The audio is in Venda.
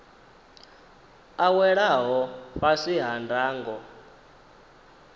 a welaho fhasi ha ndango